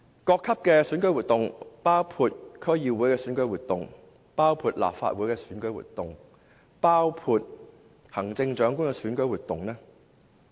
中聯辦近年一直高調參與各級的選舉活動，包括區議會、立法會、行政長官的選舉活動。